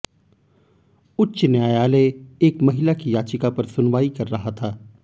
उच्च न्यायालय एक महिला की याचिका पर सुनवाई कर रहा था